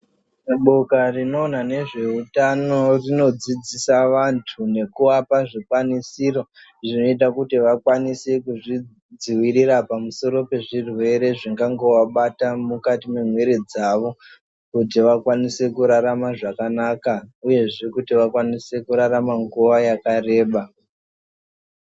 Boka rinoona nezve utano rinodzidzisa vantu nekuapa zvikwanisiro zvinoita kuti vakwanise kuzvidziwirira pamusoro pezvirwere zvingangovabata mukati mwemiri dzavo kuti vakwanise kurarama zvakanaka uyezve kuti vakwanise kurarama nguwa yakareba.